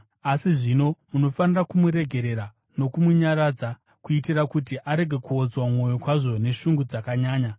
Asi zvino, munofanira kumuregerera nokumunyaradza, kuitira kuti arege kuodzwa mwoyo kwazvo neshungu dzakanyanya.